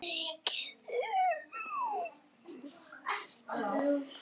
En hvað með ríkið?